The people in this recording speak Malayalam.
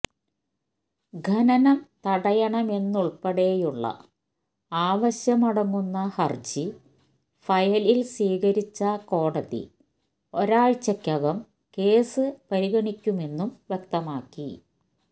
ഖനനം തടയണമെന്നതുള്പ്പെടെയുള്ള ആവശ്യമടങ്ങുന്ന ഹരജി ഫയലില് സ്വീകരിച്ച കോടതി ഒരാഴ്ചക്കകം കേസ് പരിഗണിക്കുമെന്നും വ്യക്തമാക്കി